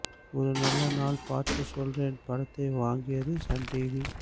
ஒரு நல்ல நாள் பார்த்து சொல்றேன் படத்தை வாங்கியது சன் டிவி